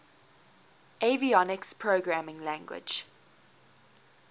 avionics programming language